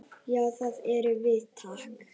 Já, það erum við.